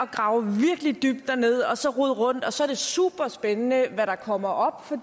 grave virkelig dybt dernede og så rode rundt og så er det super spændende hvad der kommer op for